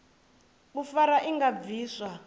u fara i nga bviswa